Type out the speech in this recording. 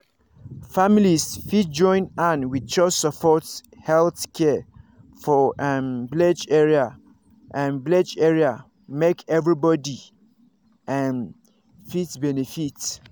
families fit join hand wit chws support health care for um village area um village area make everybody um fit benefit.